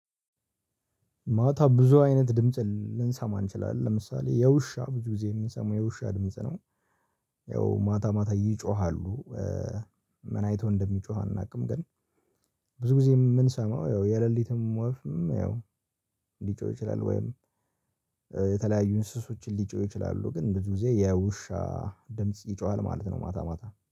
ማታ ብዙ አይነት ድምጽ ል ልንሰማ እንችላለን ለምሳሌ የውሻ ብዙ ጊዜ እምሰማው የውሻ ድምጽ ነው። ያው ማታ ማታ ይጮሃሉ ኧ ምን አይቶ እንደሚጮህ አናውቅም። ግን ብዙ ጊዜ እምንሰማው ያው የሌሊትም ወፍም ያው ሊጮህ ይችላል። ወይም የተለያዩ እንስሶች ሊጮህ ይችላሉ። ግን ብዙ ጊዜ የውሻ ድምጽ ይጮሃል ማለት ነው። ማታ ማታ